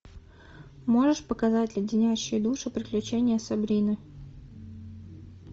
можешь показать леденящие душу приключения сабрины